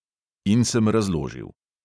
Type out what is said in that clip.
In sem razložil.